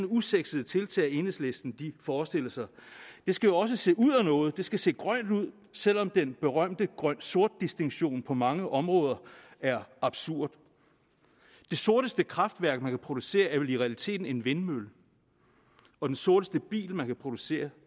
usexet tiltag enhedslisten forestiller sig det skal jo også se ud af noget det skal se grønt ud selv om den berømte grønsort distinktion på mange områder er absurd det sorteste kraftværk man kan producere er vel i realiteten en vindmølle og den sorteste bil man kan producere